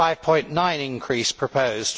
5.9 increase proposed.